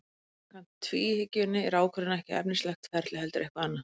En samkvæmt tvíhyggjunni er ákvörðunin ekki efnislegt ferli heldur eitthvað annað.